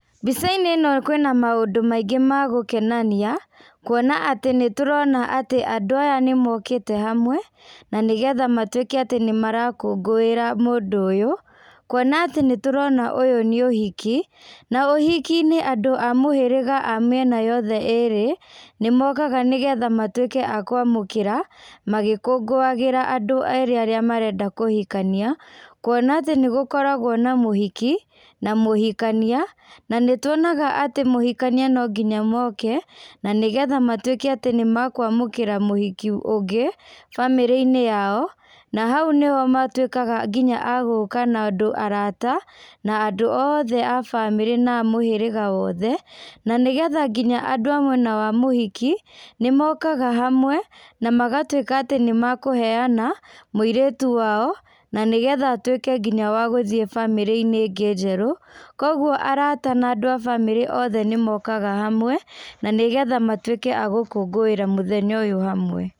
Mbĩca inĩ ĩno kwĩna mũndũ maingĩ ma gũkenania, kũona atĩ nĩtũrona atĩ andũ aya nĩmokĩte hamwe na nĩgetha matũĩke atĩ nĩmarakũngũĩra mũndũ ũyũ, kũona atĩ nĩ tũrona ũyũ nĩ ũhiki, na ũhiki inĩ andũ a mũhĩrĩga a mĩena yothe ĩrĩ nĩmokaga nĩgetha matwĩke a kwamũkĩra, magĩkũngũagĩra andũ erĩ arĩa marenda kũhĩkanĩa kũona atĩ nĩgũkoragwo na mũhiki, na mũhikanĩa, na nĩtũonaga atĩ mũhikanĩa no ngĩnya oke na nĩgetha matũĩke atĩ nĩ makwamũkĩra mũhiki ũngĩ bamĩrĩ inĩ yao, na haũ nĩ ho matũĩkaga ngĩnya agũka na andũ arata na andũ oothe a bamĩrĩ na a mũhĩrĩga wothe na nĩgetha ngĩnya andũ amwena wa mũhiki nĩmokaga hamwe na magatũĩka atĩ nĩmakũheana, mũirĩtũ wao na nĩgetha atũĩke nginya wa gũthiĩ bamĩrĩ inĩ ĩngĩ njerũ kogũo arata na andũ a bamĩrĩ othe nĩmokaga hamwe nanĩgetha matwĩke a gũkũngũĩra mũthenya ũyũ hamwe.